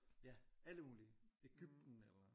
Ja alle mulige. Egypten eller